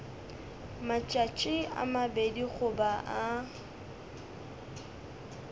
matšatši a mabedi goba a